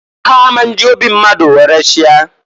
Ha a ma nji obi mmadu were chie.